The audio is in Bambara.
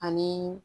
Ani